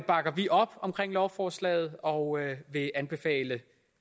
bakker vi op om lovforslaget og vil anbefale